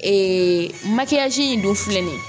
Ee makiyaji in dun filɛ nin ye